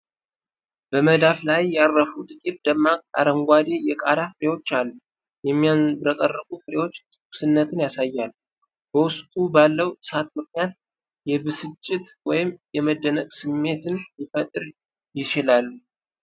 በመዳፍ ላይ ያረፉ ጥቂት ደማቅ አረንጓዴ የቃሪያ ፍሬዎች አሉ። የሚያብረቀርቁ ፍሬዎቹ ትኩስነትን ያሳያሉ። በውስጡ ባለው እሳት ምክንያት የብስጭት ወይም የመደነቅ ስሜትን ሊፈጥር ይችላል።